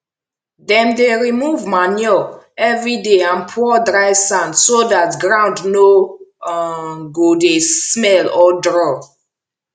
dem dey remove manure every day and pour dry sand so dat ground no um go dey smell or draw